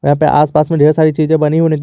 यहां पे आस पास में ढेर सारी चीजे बनीं हुईं नज़र--